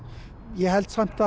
ég hélt samt